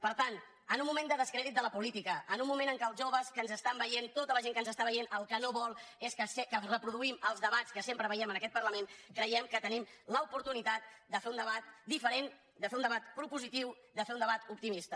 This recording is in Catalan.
per tant en un moment de descrèdit de la política en un moment en què els joves que ens estan veient tota la gent que ens està veient el que no vol és que reproduïm els debats que sempre veiem en aquest parlament creiem que tenim l’oportunitat de fer un debat diferent de fer un debat propositiu de fer un debat op timista